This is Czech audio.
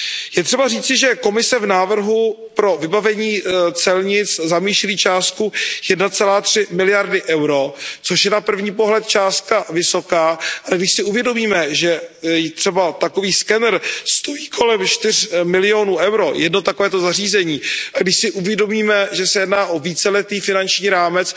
Je třeba říci, že Komise v návrhu pro vybavení celnic zamýšlí částku 1,3 miliardy EUR, což je na první pohled částka vysoká, ale když si uvědomíme, že třeba takový scanner stojí kolem 4 milionů EUR, jedno takovéto zařízení, a když si uvědomíme, že se jedná o víceletý finanční rámec,